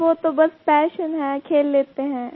sir वो तो बस पैशन है खेल लेते हैं